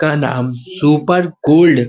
का नाम super gold --